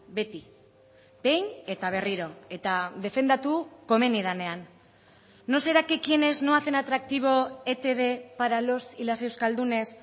beti behin eta berriro eta defendatu komeni denean no será que quienes no hacen atractivo etb para los y las euskaldunes